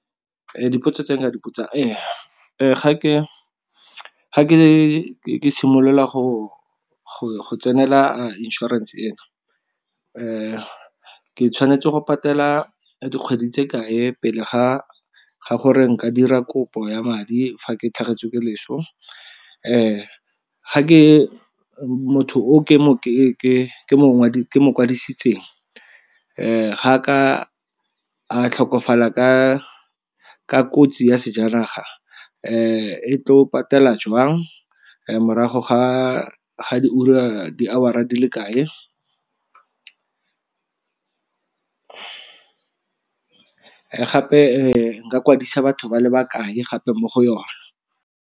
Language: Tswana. Dipotso tse nka dipitsa ee, ga ke simolola go tsenela inšorense ena ke tshwanetse go patela dikgwedi tse kae pele ga gore nka dira kopo ya madi fa ke tlhagetswe ke leso? Ga ke, motho o ke mo kwadisitseng ga ka a tlhokofala ka kotsi ya sejanaga e tlo patela jwang? Morago ga di ura, hour-a di le kae gape nka kwadisa batho ba le bakae gape mo go yona?